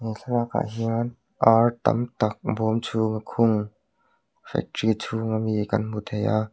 he thlalakah hian ar tam tak bawm chhunga khung factory chhung ami kan hmu thei a.